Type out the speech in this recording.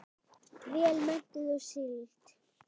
Vel menntuð og sigld.